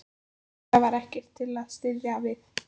En það var ekkert til að styðjast við.